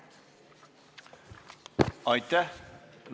Aitäh!